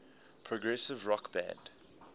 progressive rock band